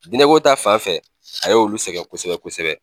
Dinɛko ta fan fɛ a y'olu sɛgɛn kosɛbɛ kosɛbɛ